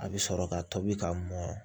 A bɛ sɔrɔ ka tobi ka mɔn